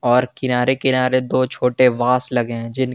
और किनारे किनारे दो छोटे बास लगे हैं।